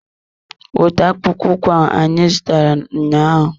Wete akpụkpọ ụkwụ ahụ anyị zụtara ụnyaahụ!